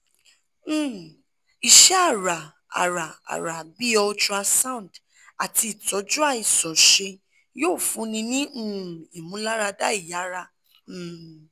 um iṣẹ-ara-ara-ara bii ultrasound ati itọju aiṣanṣe yoo funni ni um imularada iyara um